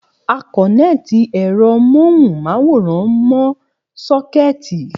A kòneti ẹ̀rọ móhùn máwòrán mó sókètì